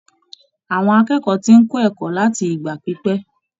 Àwọn akẹ́kọ̀ọ́ tí ń kó ẹ̀kọ́ láti ìgbà pípẹ́.